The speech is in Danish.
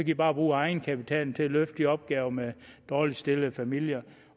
i bare bruge af egenkapitalen til at løfte de opgaver med dårligt stillede familier